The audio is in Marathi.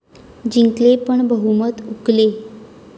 जिंकले पण बहुमत हुकले